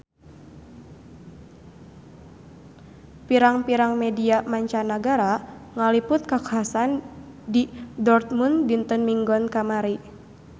Pirang-pirang media mancanagara ngaliput kakhasan di Dortmund dinten Minggon kamari